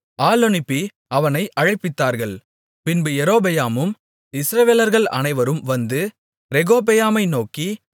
ஆள் அனுப்பி அவனை அழைப்பித்தார்கள் பின்பு யெரொபெயாமும் இஸ்ரவேலர்கள் அனைவரும் வந்து ரெகொபெயாமை நோக்கி